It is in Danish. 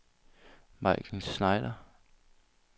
Majken Schneider